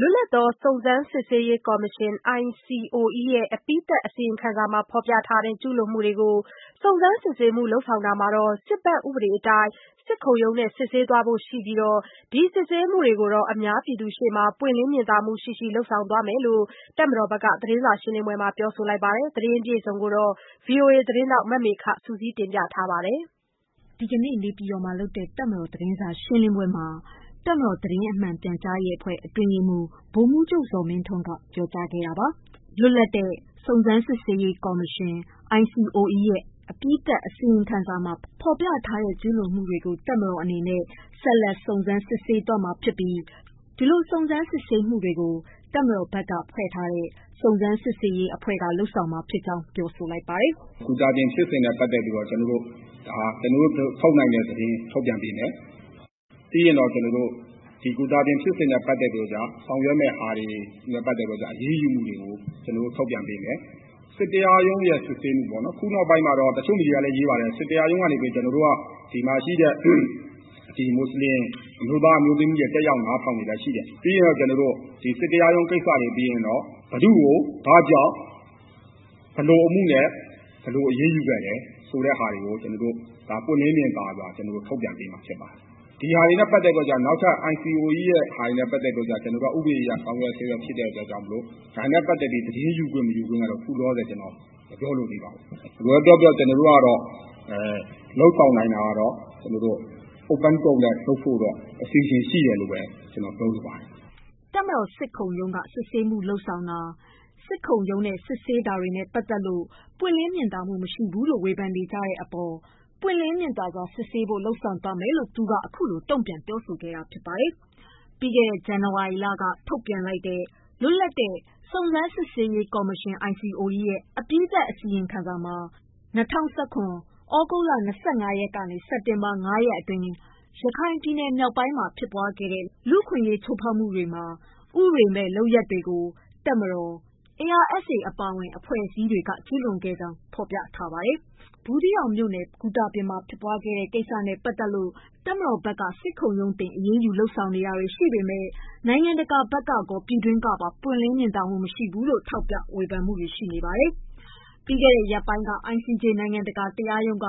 လွတ်လပ်သော စုံစမ်းစစ်ဆေးရေးကော်မရှင် ရဲ့ အပြီးသတ်အစီရင်ခံစာမှာ ဖော်ပြထားတဲ့ ကျူးလွန်မှုတွေ ကို စုံစမ်းစစ်ဆေးမှုတွေ လုပ်ဆောင်တာမှာ စစ်ဘက် ဥပဒေအတိုင်းစစ်ခုံရုံနဲ့ စစ်ဆေးသွားဖို့ ရှိပြီး ဒီစစ်ဆေးမှုကို အများပြည်သူရှေ့မှာ ပွင့်လင်းမြင်သာမှုရှိရှိ လုပ်သွားမယ် လို့ တပ်မတော်ဘက်ကပြောဆို လိုက်ပါတယ်။ ဒီသတင်းကို ဗွီအိုအေသတင်းထောက် မေခက စုစည်းတင်ပြထားပါတယ်။ ဒီကနေ့ နေပြည်တော်မှာ လုပ်တဲ့ တပ်မတော်သတင်းစာရှင်းလင်းပွဲမှာ တပ်မတော် သတင်းမှန် ပြန်ကြားရေး အဖွဲ့ အတွင်းရေးမှူး ဗိုလ်မှူးချုပ်ဇော်မင်းထွန်းကပြော ကြားခဲ့တာပါ။ လွတ်လပ်သော စုံစမ်းစစ်ဆေးရေးကော်မရှင် ရဲ့ အပြီးသတ်အစီရင်ခံစာမှာ ဖော်ပြထားတဲ့ ကျူးလွန်မှုတွေ ကို တပ်မတော်အနေနဲ့ ဆက်လက်စုံစမ်းစစ်ဆေးသွားမှာ ြဖစ်ပြီး ဒီလိုစုံစမ်း စစ်ဆေးမှုတွေကို တပ်မတော်ဘက်က ဖွဲ့ထားတဲ့ စုံစမ်းစစ်ဆေးရေးအဖွဲ့ က လုပ်ဆောင်မှာ ဖြစ်ကြောင်း ပြောပါတယ်။ “ ဂူတာပြင် ဖြစ်စဉ်နဲ့ပတ်သတ်ပြီးတော့ ကျနော်တို့ ထုတ်နိုင်တဲ့သတင်းထုတ်ပြန်ပေးမယ်။ ဂူတာပြင် ဖြစ်စဉ်နဲ့ပတ်သတ်ပြီး ဆောင်ရွက်မယ့်ဟာတွေ၊ အရေးယူမှုတွေကို ကျနော်တို့ထုတ်ပြန်ပေးမယ်။ဒီ စစ်တရားရုံးစစ်ဆေးမှုမှာ ခုနောက်ပိုင်းမွတ်ဆလင် တွေ လာနားထောင်တာရှိတယ်။ တရားရုံကိစ္စ ပြီးရင်တော့ဘယ်သူ့ကို ဘာကြောင့် ဘယ်လိုအမှုနဲ့ ဘယ်လို အရေးယူခဲ့သလဲ ဆိုတာ ကိုပွင့်လင်းမြင်သာစွာ ထုတ်ပြန်ပေးမှာဖြစ်ပါတယ်။ ICOE နဲ့ ပတ်သတ်တာတွေက ဥပဒေအရ ဆောင် ရွက်ဆဲ ဖြစ်လို့ ဒါနဲ့ပတ်သတ်လို့ သတင်းယူခွင့်ကတော့ခုလောလောဆယ်မပြောလိုသေးပါဘူး။ ဒါပေမယ့်တော့ ကျတော် တို့ လုပ်ဆောင်လာနိုင်တာကတော့ Open Court လုပ်ဖို့တော့ ရှိပါတယ်။” တပ်မတော် စစ်ခုံရုံးက စစ်ဆေးမှု လုပ်ဆောင်ဆောင်တာ၊ စစ်ခုံရုံးနဲ့ စစ်ဆေးတာတွေနဲ့ ပတ်သက်လို့ ပွင့်လင်းမြင်သာ မှု မရှိဘူးလို့ဝေဖန်မှု တွေရှိနေတဲ့ အပေါ် ပွင့်လင်းမြင်သာစွာ စစ်ဆေးဖို့ လုပ်ဆောင်ပြမယ်လို့ သူကတုံ့ပြန်လိုက်တာပါ။ ပြီးခဲ့တဲ့ ဇန်နဝါရီလက ထုတ်ပြန်ခဲ့တဲ့ လွတ်လပ်သောစုံစမ်းစစ်ဆေးရေး ကော်မရှင် ရဲ့ အပြီးသတ် အစီရင်ခံစာမှာ ၂၀၁၇ ခုနှစ် သြဂုတ်လ ၂၅ ရက်နေ့မှ စက်တင်ဘာလ ၅ ရက်နေ့အတွင်း ရခိုင်ပြည်နယ် မြောက် ပိုင်းမှာ ပြင်းထန်တဲ့ လူ့အခွင့်အရေး ချိုးဖောက်မှုတွေ ဥပဒေမဲ့လုပ်ရပ်တွေကို တပ်မတော်၊ ARSA အပါအဝင် အဖွဲ့အစည်း ေ တွက ကျူးလွန်ခဲ့ ကြောင်း ဖော်ပြထားတာပါ။ ဘူးသီးတောင်မြို့နယ်ဂူတာပြင် မှာ ဖြစ်ခဲ့တဲ့ ကိစ္စနဲ့ပတ်သက်လို့ တပ်မတော်ဘက်က စစ်ခုံရုံးတင် အရေးယူလုပ်ဆောင် နေတာတွေရှိပေမယ့် နိုင်ငံတကာဘက်ကရော၊ပြည်တွင်းကပါ ပွင့်လင်း မြင်သာမှု မရှိဘူးလို့ ထောက်ပြဝေဖန်မှုတွေ ရှိပါတယ်။ ပြီးခဲ့တဲ့ ရက်ပိုင်းက ICJ နိုင်ငံတကာ တရားရုံးက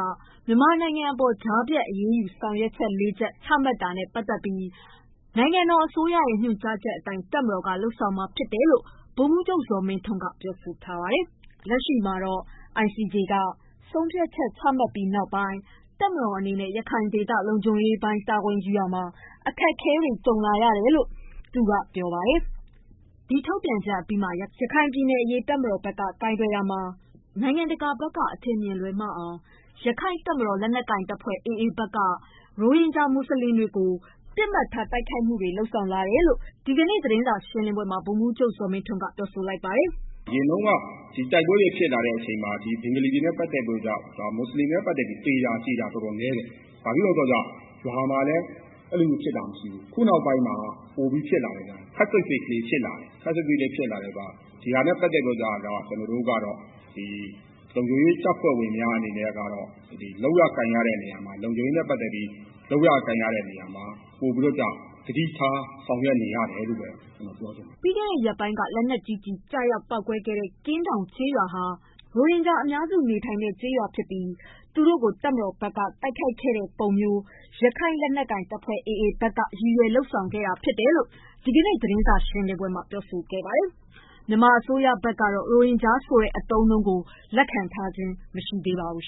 မြန်မာနိုင်ငံအပေါ် ကြားဖြတ်အရေးယူ ဆောင်ရွက်ချက် ၄ ခု ချမှတ်ခဲ့တာနဲ့ ပတ်သက်ပြီး နိုင်ငံတော်အစိုးရရဲ့ ညွှန်ကြားချက် အတိုင်း တပ်မတော်က လုပ်ဆောင်မှာဖြစ်ကြောင်း ဗိုလ်မှူးချုပ် ဇော်မင်းထွန်းက ပြောပါတယ်။ လက်ရှိမှာတော့ ICJ က ဆုံးဖြတ်ချက် ချမှတ်ပြီးနောက်ပိုင်း တပ်မတော်အနေနဲ့ ရခိုင်ဒေသ လုံခြုံရေးပိုင်းတာဝန်ယူရတာမှာ အခက်အခဲ တွေကြုံလာရ တယ် လို့လည်းပြောပါတယ်။ ဒီထုတ် ပြန်ချက်ထုတ်အပြီးမှာ ရခိုင်ပြည်နယ် အရေး တပ်မတော် က လုပ်ဆောင်ရာမှာ နိုင်ငံတကာက အထင်မြင် လွဲအောင် လက်နက်ကိုင်တပ်ဖွဲ့ AA က ရိုဟင်ဂျာ မွတ်ဆလင်တွေ ကို ပစ်မှတ်ထားတိုက်ခိုက်မှုတွေ လုပ်ဆောင်နေတယ်လို့ လည်း ဒီကနေ့ သတင်း စာရှင်းလင်းပွဲမှာ ဗိုလ်မှုးချုပ် ဇော်မင်းထွန်းက ပြောဆိုခဲ့ပါတယ်။ “ အရင်တုန်းက တိုက်ပွဲတွေ ဖြစ်လာတုန်းက ဘင်္ဂလီတွေ၊ မွတ်ဆလင်တွေ ထိခိုက်တာတော်တော်နည်းတယ်။ ခုနောက်ပိုင်း ခပ်စိတ်စိတ်လေးဖြစ်လာတယ်။ ဒါနဲ့ပတ်သတ်လို့ ကျနော်တို့ကတော့လုံခြုံရေးတပ်ဖွဲ့ဝင်တွေ အနေနဲ့ လုပ်ရကိုင်ရတာမှာ ပိုပြီးသတိထားဆောင်ရွက်နေရတယ်လို့ ကျနော်ပြောချင်ပါတယ်” ပြီးခဲ့တဲ့ ရက်ပိုင်းက လက်နက်ကြီးကျည် ကျရောက်ပေါက်ကွဲခဲ့တဲ့ ကင်းတောင်ကျေး ရွာဟာ ရိုဟင်ဂျာ အများစု နေထိုင်တဲ့ကျေးရွာဖြစ်ပြီး သူတို့ကို တပ်မတော်ဘက်က တိုက်ခိုက်ခဲ့တဲ့ ပုံမျိုး ရက္ခိုင့်လက်နက်ကိုင်တပ်ဖွဲ့ AA ဘက်က ရည်ရွယ် လုပ်ဆောင် ခဲ့ တာဖြစ်တယ်လို့ ဒီကနေ့ သတင်း စာရှင်းလင်းပွဲမှာ ပြောကြားခဲ့တာပါ။ မြန်မာအစိုးရဘက်ကတော့ ရိုဟင်ဂျာဆိုတဲ့ အသုံးအနှုန်းကို လက်ခံထားခြင်း မရှိပါဘူး